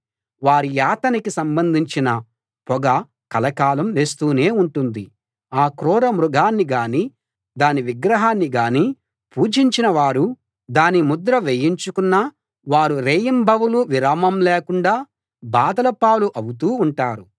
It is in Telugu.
వారి యాతనకి సంబంధించిన పొగ కలకాలం లేస్తూనే ఉంటుంది ఆ క్రూర మృగాన్ని గానీ దాని విగ్రహాన్ని గానీ పూజించిన వారూ దాని ముద్ర వేయించుకున్న వారూ రేయింబవళ్ళు విరామం లేకుండా బాధలపాలు అవుతూ ఉంటారు